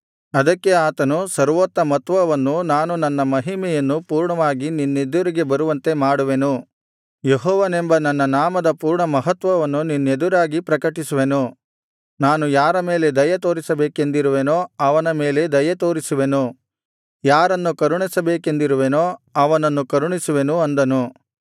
ಸರ್ವೋತ್ತಮತ್ವವನ್ನು ಅದಕ್ಕೆ ಆತನು ನಾನು ನನ್ನ ಮಹಿಮೆಯನ್ನು ಪೂರ್ಣವಾಗಿ ನಿನ್ನೆದುರಿಗೆ ಬರುವಂತೆ ಮಾಡುವೆನು ಯೆಹೋವನೆಂಬ ನನ್ನ ನಾಮದ ಪೂರ್ಣ ಮಹತ್ವವನ್ನು ನಿನ್ನೆದುರಾಗಿ ಪ್ರಕಟಿಸುವೆನು ನಾನು ಯಾರ ಮೇಲೆ ದಯೆತೋರಿಸಬೇಕೆಂದಿರುವೆನೋ ಅವನ ಮೇಲೆ ದಯೆ ತೋರಿಸುವೆನು ಯಾರನ್ನು ಕರುಣಿಸಬೇಕೆಂದಿರುವೆನೋ ಅವನನ್ನು ಕರುಣಿಸುವೆನು ಅಂದನು